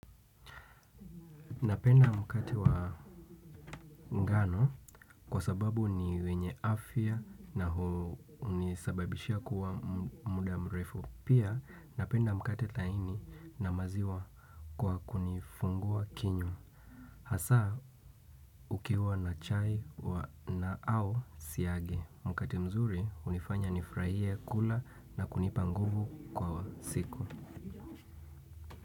Napenda mkate wa ngano kwa sababu ni wenye afya na hunisababishia kuwa muda mrefu. Pia napenda mkate laini na maziwa kwa kunifungua kinywa hasa ukiwa na chai wa na au siagi mkate mzuri hunifanya nifurahie kula na kunipa nguvu kwa siku.